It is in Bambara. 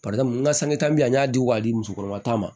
n ka sanke ta bi an y'a di wa di musokɔrɔba ta ma